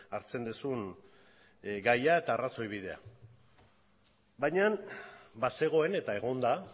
hartzen duzun gaia eta arrazoi bidea baina bazegoen eta egon da